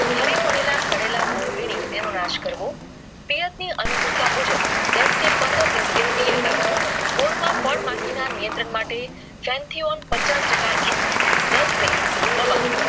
ખરી પડેલા સડેલા ગોરવિન તેનો નાશ કરવો પેયર્સ ની અનુકુળતા મુજબ દસ થી પંદર દિવસે આપવું બોર માં ફાળ ના નિયંત્રણ માટે centiyon પછાસ ટાકા EC દસ મીલી ધવા